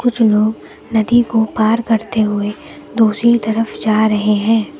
कुछ लोग नदी को पार करते हुए दूसरी तरफ जा रहे हैं।